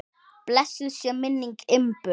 Blessuð sé minning Imbu.